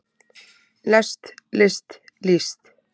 lest list líst